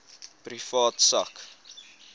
privaat sak